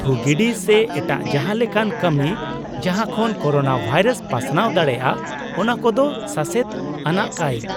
ᱛᱷᱩ ᱜᱤᱰᱤ ᱥᱮ ᱮᱴᱟᱜ ᱡᱟᱦᱟᱸ ᱞᱮᱠᱟᱱ ᱠᱟᱹᱢᱤ, ᱡᱟᱦᱟᱸ ᱠᱷᱚᱱ ᱠᱳᱨᱳᱱᱟ ᱵᱷᱟᱭᱨᱟᱥ ᱯᱟᱥᱱᱟᱣ ᱫᱟᱲᱮᱭᱟᱜᱼᱟ ᱚᱱᱟ ᱠᱚᱫᱚ ᱥᱟᱥᱮᱛ ᱟᱱᱟᱜ ᱠᱟᱹᱭ ᱾